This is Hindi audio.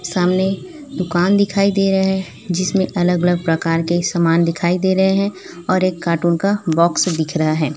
सामने दुकान दिखाई दे रहे हैं जिसमें अलग अलग प्रकार के समान दिखाई दे रहे हैं और एक कार्टून का बॉक्स दिख रहा है।